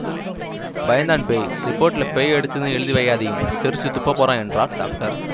பயந்தான் பேய் ரிப்போர்ட்லெ பேயடிச்சதுன்னு எழுதி வையாதியும் சிரிச்சுத் துப்பப்போறான் என்றார் டாக்டர்